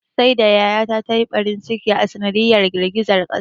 Saida yaya ta ta yi ɓarin ciki a sanadiyar girgizan ƙasar.